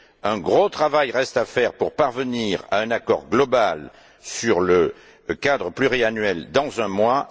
Un gros travail reste à faire pour parvenir à un accord global sur le cadre pluriannuel dans un mois.